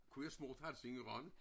Kunne jeg svoret at have set i Rønne